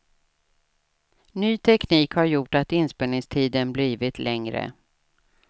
Ny teknik har gjort att inspelningstiden blivit längre.